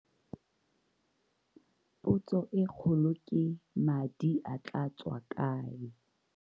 Potso e kgolo ke madi a tlaa tswa kae?